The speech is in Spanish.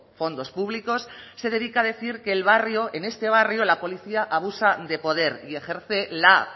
fondos públicos se dedica a decir que el barrio en este barrio la policía abusa de poder y ejerce la